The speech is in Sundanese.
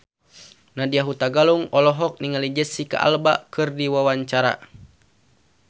Nadya Hutagalung olohok ningali Jesicca Alba keur diwawancara